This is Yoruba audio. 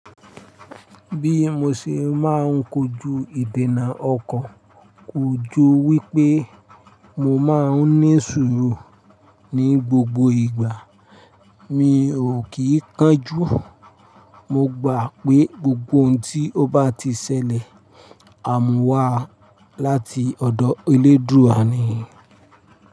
Bí mo ṣe máa ń kojú ìdènà ọkọ, kò ju wípé mo máa ń ní sùúrù ní gbogbo ìgbà, mi ò kì í kánjú. Mo gbà pé gbogbo ohun tí ó bá ti ṣẹlẹ̀, àmúwá láti ọ̀dọ̀ Elédùúà ni.